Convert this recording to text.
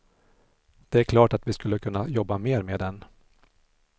Det är klart att vi skulle kunna jobba mer med den.